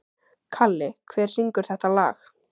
Kalli, hver syngur þetta lag?